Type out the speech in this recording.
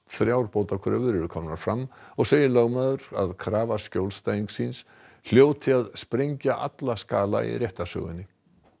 þrjár bótakröfur eru komnar fram og segir lögmaður að krafa skjólstæðings síns hljóti að sprengja alla skala í réttarsögunni